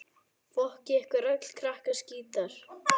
Það þarf ekki frekar vitnanna við.